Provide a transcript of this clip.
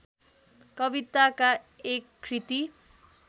कविताका एक कृति